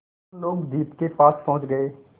हम लोग द्वीप के पास पहुँच गए